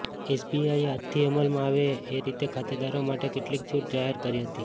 એસબીઆઇએ આજથી અમલમાં આવે એ રીતે ખાતેદારો માટે કેટલીક છૂટ જાહેર કરી હતી